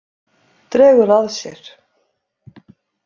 Dregur að sér.